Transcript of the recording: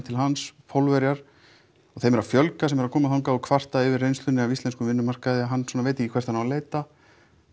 til hans Pólverjar og þeim er að fjölga sem koma til hans og kvarta yfir reynslunni af íslenskum vinnumarkaði og hann svona veit ekki hvert hann á að leita